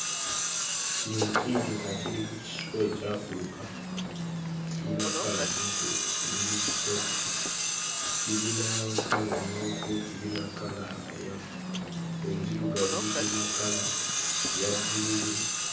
Ekinyonyi kiikyo nga kiri ku kiswa ekyafuluka. Kirina kkala ziizo ziri ssatu: kirina kkala emmyufu, kirina kkala eya enzirugavu, kirina kkala eya bbululu.